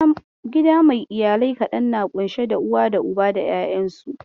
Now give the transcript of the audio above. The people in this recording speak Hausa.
Gida mai iyalai kaɗan na ƙunshe da uwa da Uba da 'yayansu.